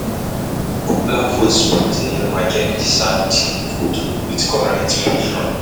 Popular food spot near market dey serve cheap food with correct portion.